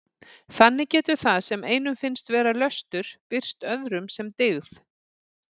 Þannig getur það sem einum finnst vera löstur birst öðrum sem dyggð.